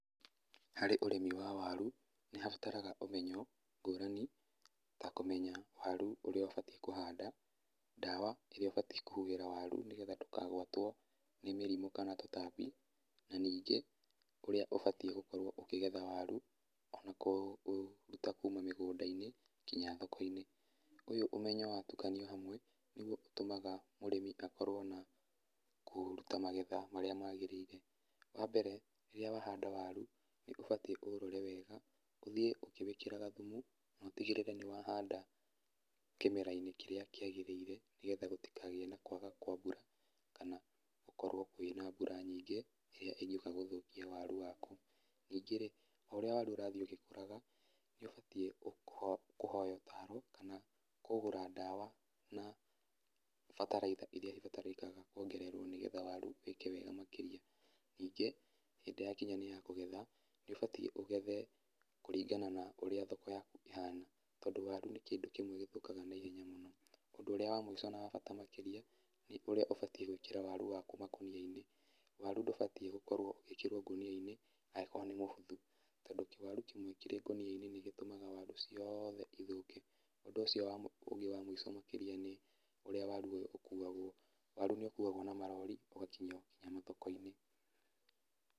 Hari ũrĩmi wa waru, nĩ habatara ũmenyo ngũrani, ta kũmenya waru ũrĩa ũbatiĩ kũhanda, ndawa ĩrĩa ũbatiĩ kũhuhĩra waru nĩ getha ndũkagwatwo nĩ mĩrimũ kana tũtambi. Na ningĩ ũrĩa ũbatiĩ gũkorwo ũkĩgetha waru, ona kũũruta kuuma mĩgũnda-inĩ nginya thoko-inĩ. Ũyũ ũmenyo wa tukanio hamwe, nĩ guo ũtũmaga mũrĩmi akorwo na kũruta magetha marĩa magĩrĩire. Wa mbere, rĩrĩa wahanda waru nĩ ũbatiĩ ũũrore wega, ũthĩe ũkĩwĩkĩraga thumu na ũtigĩrĩre nĩ wahanda kĩmera-inĩ kĩrĩa kĩagĩrĩire, nĩ getha gũtikagĩe na kwaga kwa mbura kana gũkorwo kwĩna mbura nyingĩ ĩrĩa ĩngĩũka gũthũkia waru waku. Ningĩ rĩ, o ũrĩa waru ũrathiĩ ũgĩkũraga, nĩ ũbatiĩ kũhoya ũtaro kana kũgũra ndawa na bataraitha iria ibatarĩkaga kuongererwo nĩ getha waru ĩke wega makĩria. Ningĩ hĩndĩ yakinya nĩ ya kũgetha, nĩ ũbatiĩ ũgethe kũringana na ũrĩa thoko yaku ĩhana tondũ waru nĩ kĩndũ kĩmwe gĩthũkaga na ihenya mũno. Ũndu ũrĩa wa mwĩsho na wa bata makĩrĩa nĩ ũrĩa ũbatiĩ gũĩkĩra waru waku makonia-inĩ, waru ndũbatiĩ gũkorwo ũgĩĩkĩrwo ngũnia-inĩ angĩkorwo nĩ mũbuthu, tondũ kĩwaru kĩmwe kĩrĩ ngũnia-inĩ nĩ gĩtũmaga waru ciothe ithũke. Ũndũ ũcio ũngĩ wa mũico makĩria nĩ ũrĩa waru ũyũ ũkuagwo, waru nĩ ũkuagwo na marori ũgakinyio nginya mathoko-inĩ.